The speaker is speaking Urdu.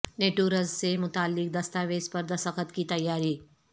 نیٹو رسد سے متعلق دستاویز پر دستخط کی تیاری